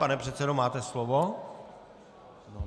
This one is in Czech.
Pane předsedo, máte slovo.